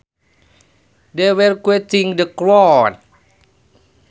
They were quieting the crowd